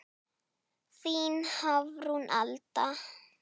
Þín Hafrún Alda.